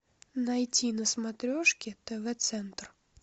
найти на смотрешке тв центр